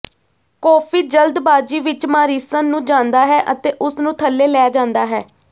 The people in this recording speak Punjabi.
ਕੋਫੀ ਜਲਦਬਾਜ਼ੀ ਵਿਚ ਮਾਰੀਸਨ ਨੂੰ ਜਾਂਦਾ ਹੈ ਅਤੇ ਉਸ ਨੂੰ ਥੱਲੇ ਲੈ ਜਾਂਦਾ ਹੈ